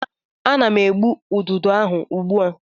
Ana m egbu ududo ahụ ugbu a.